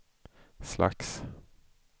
slags